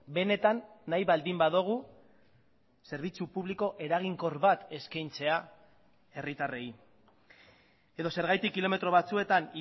benetan nahi baldin badugu zerbitzu publiko eraginkor bat eskaintzea herritarrei edo zergatik kilometro batzuetan